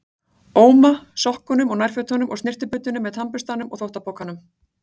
Óma, sokkunum og nærfötunum og snyrtibuddunni með tannburstanum og þvottapokanum.